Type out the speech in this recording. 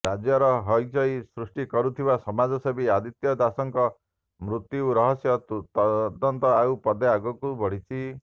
ରାଜ୍ୟର ହଅଚଇ ସୃଷ୍ଟି କରିଥିବା ସମାଜସେବୀ ଆଦିତ୍ୟ ଦାଶଙ୍କ ମୃତ୍ୟ ରହସ୍ୟ ତଦନ୍ତ ଆଉ ପାଦେ ଆଗକୁ ବଢିଛି